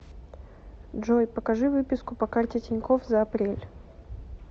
джой покажи выписку по карте тинькофф за апрель